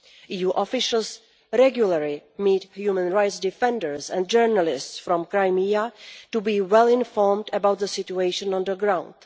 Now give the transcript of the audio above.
EU officials regularly meet human rights defenders and journalists from Crimea, to be well informed about the situation on the ground.